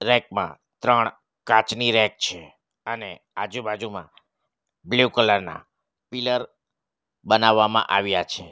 Rack માં ત્રણ કાચની રેક છે અને આજુબાજુમાં બ્લુ કલર ના પિલર બનાવામાં આવ્યા છે.